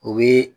O bɛ